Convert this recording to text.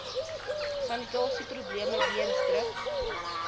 sanitasieprobleme weens druk